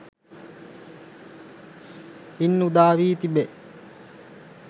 ඉන් උදා වී තිබේ.